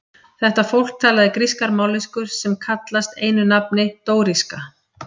Þetta fólk talaði grískar mállýskur sem kallast einu nafni dóríska.